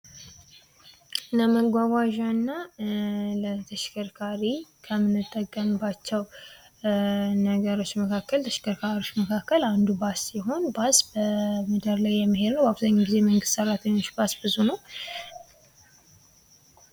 ለመጓጓዣ እና ለተሽከርካሪ ከምንጠቀምባቸው ነገሮች መካከል ተሽከርካሪዎች አንዱ ባስ ሲሆን ባስ በመንገድ ላይ የሚሄድ ነው። አብዛኛውን ጊዜ የመንግስት ሠራተኞች ባስ ብዙ ነው።